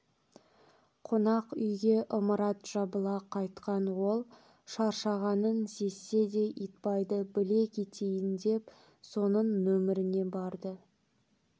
қонақ үйге ымырт жабыла қайтқан ол шаршағанын сезсе де итбайды біле кетейін деп соның нөмеріне барды